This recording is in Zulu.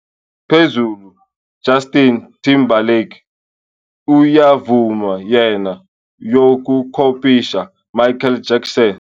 Back to - phezulu "Justin Timberlake uyavuma yena yokukopisha Michael Jackson."